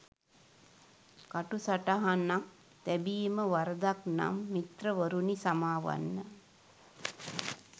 කටු සටහනක් තැබීම වරදක් නම් මිත්‍රවරුනි සමාවන්න